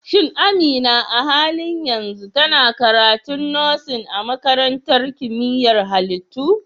Shin Amina a halin yanzu tana karatun Nursing a Makarantar Kimiyyar Halittu?